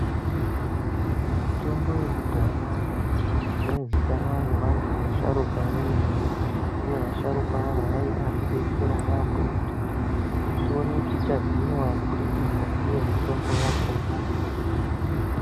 Mutombo yekudhaya yaizikanwa ngevantu vasharukwa vemene uye vasharukwa ava vaibatidetsera yaampho kuti tioneke tichahinwa kubudikidza ndiyo mitombo yakona.